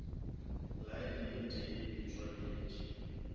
lane e tee e tšwaletše